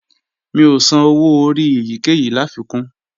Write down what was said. Mi ò san owó orí èyíkéyìí láfikún